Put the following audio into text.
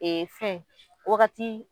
Ee fɛn waagati.